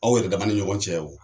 Aw yɛrɛ daman ni ɲɔgɔn cɛ o